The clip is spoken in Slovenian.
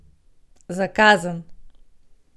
Za kazen!